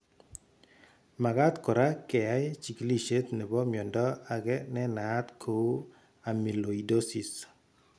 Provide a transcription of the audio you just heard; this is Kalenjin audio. Magat kora keyai chigilishet nebo miondo age nenaat kou amyloidosis.